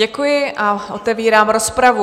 Děkuji a otevírám rozpravu.